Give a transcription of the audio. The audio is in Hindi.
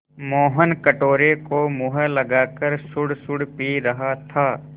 मोहन कटोरे को मुँह लगाकर सुड़सुड़ पी रहा था